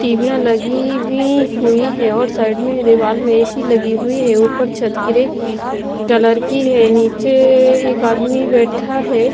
टीवियां लगी हुई हुई हैं और साइड में दीवाल में ए_सी लगी हुई है ऊपर छत ग्रे कलर की है नीचे एक आदमी बैठा है।